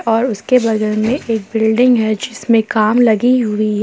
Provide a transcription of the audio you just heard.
और उसके बगल में एक बिल्डिंग है जिसमें काम लगी हुई है।